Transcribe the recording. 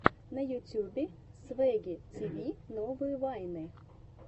на ютубе свэгги тиви новые вайны